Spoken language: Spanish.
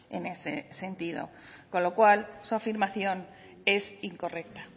en ese sentido con lo cual su afirmación es incorrecta